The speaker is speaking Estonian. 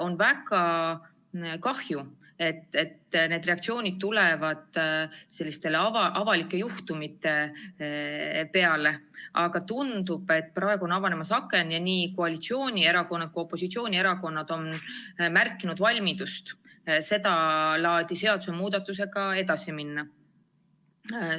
On väga kahju, et need reaktsioonid tulevad selliste avalike juhtumite peale, aga tundub, et praegu on avanemas aken ja nii koalitsiooni- kui ka opositsioonierakonnad on märkinud valmidust sedalaadi seadusemuudatusega edasi minna.